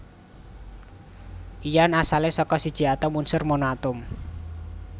Ion asalé saka siji atom unsur monoatom